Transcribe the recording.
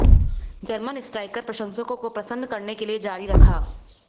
German striker प्रशंसकों को प्रसन्न करने के लिए जारी रखा